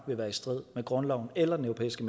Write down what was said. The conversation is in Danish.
vil være i strid med grundloven eller den europæiske